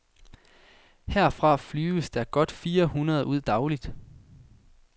Herfra flyves der godt fire hundrede ud dagligt.